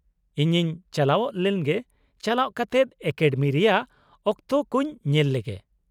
ᱤᱧᱤᱧ ᱪᱟᱞᱟᱣ ᱞᱮᱱᱜᱮ, ᱪᱟᱞᱟᱣ ᱠᱟᱛᱮᱫ ᱮᱠᱟᱰᱮᱢᱤ ᱨᱮᱭᱟᱜ ᱚᱠᱛᱚ ᱠᱚᱧ ᱧᱮᱞ ᱞᱮᱜᱮ ᱾